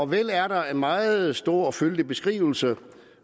vel er der en meget stor og fyldig beskrivelse